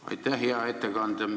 Aitäh, hea ettekandja!